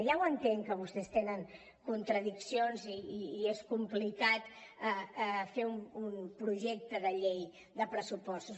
ja ho entenc que vostès tenen contradiccions i que és complicat fer un projecte de llei de pressupostos